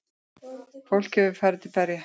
Fólk hefur farið til berja.